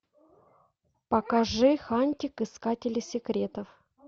покажи хантик искатели секретов